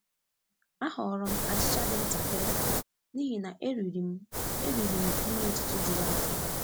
A họọrọ m achịcha dị ntakịrị n'ihi na eriri m eriri m nri ụtụtụ juru afọ.